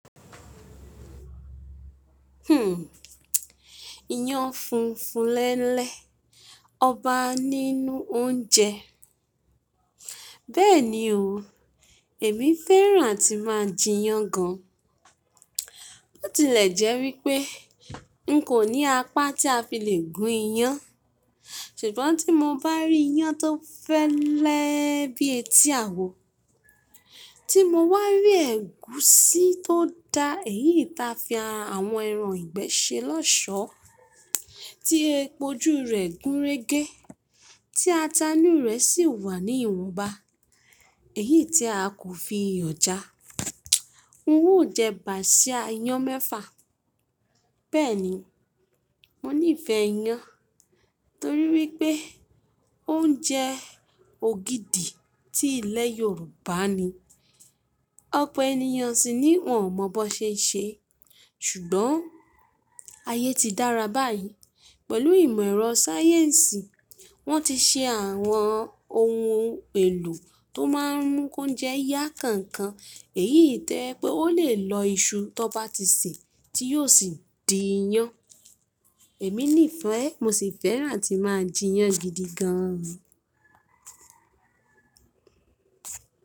Hmm, iyán funfun lẹ́lẹ́, ọba nínú oúnjẹ. Bẹ́ẹ̀ni o, èmi fẹ́ràn atí máa jẹ iyán gan. Bó tilẹ̀ jẹ́ wípé n kò ní apá tí a fi le gún iyán, ṣùgbọ́n tí mo bá rí iyán tó fẹ́lẹ́ bíi etí àwo, tí mo wá rí ẹ̀gúsí tó da, èyí ta fi àwọn ẹran ìgbẹ́ ṣe lọ́ṣọ̀ọ́, tí epo jú rẹ̀ gúnrégé, tí atá inú rẹ̀ sì wà ní ìwọ̀nba, èyí tí a kò fi iyọ̀ já, n ó jẹ bàsíà iyán mẹ́fà. Bẹ́ẹ̀ni, mo nífẹ̀ẹ́ iyán torí wípé ó ń jẹ́ ògidì ti ilẹ̀ Yorùbá ni. Ọ̀pọ̀ ènìyàn sì ni wọ́n ò mọ bó ṣe ń ṣe é. Ṣùgbọ́n ayé ti dára báyìí. Pẹ̀lú ìmọ̀ ẹ̀rọ sáyẹ́ǹsì, wọ́n ti ṣe àwọn ohun èlò tó máa ń mú óúnjẹ yá kánkán. Èyí tẹ́lẹ̀ pé ó lè lọ iṣu tó bá ti sè tí yóò sì di iyán. Èmi nífẹ̀ẹ́ ẹ́, mo sì fẹ́ràn tí máa jẹ iyán gidi gan.